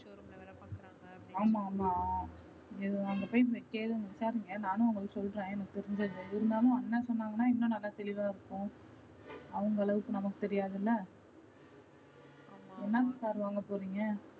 ஆமா ஆமா அங்க போய் கேளு வைக்காதிங்க நானும் உங்களுக்கு சொல்ற எனக்கு தெரிஞ்சத இருந்தாலும் அண்ணா சொன்னாகனா இன்னும் நல்லா தெளிவா இருக்கும். அவுங்க அளவுக்கு நம்மக்கு தெரியத்துல, என்ன car வாங்கப்போறிங்க.